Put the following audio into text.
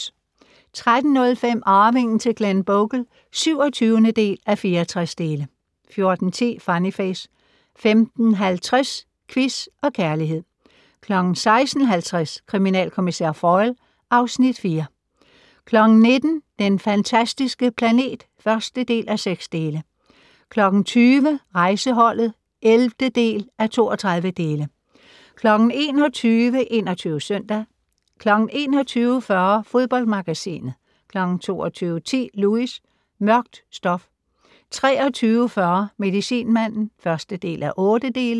13:05: Arvingen til Glenbogle (27:64) 14:10: Funny Face 15:50: Quiz og Kærlighed 16:50: Kriminalkommissær Foyle (Afs. 4) 19:00: Den fantastiske planet (1:6) 20:00: Rejseholdet (11:32) 21:00: 21 Søndag 21:40: Fodboldmagasinet 22:10: Lewis: Mørkt stof 23:40: Medicinmanden (1:8)